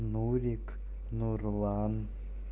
нурик нурлан